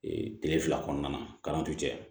kile fila kɔnɔna na cɛ